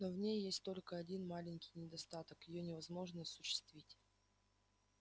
но в ней есть только один маленький недостаток её невозможно осуществить